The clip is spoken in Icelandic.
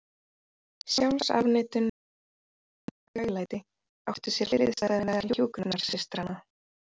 sjálfsafneitun, sjálfsstjórn og hæglæti, áttu sér hliðstæðu meðal hjúkrunarsystranna.